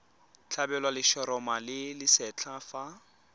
tlhabelwa letshoroma le lesetlha fa